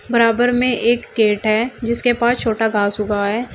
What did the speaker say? बराबर में गेट है जिसके पास छोटा घास उगा है।